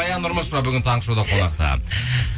баян нұрмышева бүгін таңғы шоуда қонақта